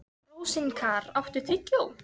Rósinkar, áttu tyggjó?